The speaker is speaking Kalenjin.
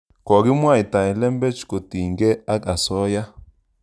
Kokimwaitae lembech kotiny kei ak asoya